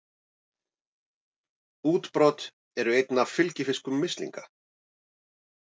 Útbrot eru einn af fylgifiskum mislinga.